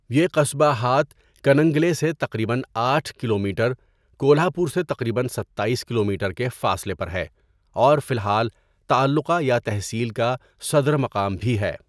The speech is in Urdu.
یہ قصبہ ہات کننگلے سے تقریباً آٹھ کلومیٹر، کولہاپور سے تقریباً ستائیس کلومیٹر کے فاصلے پر ہے اور فی الحال تعلقہ یا تحصیل کا صدر مقام بھی ہے۔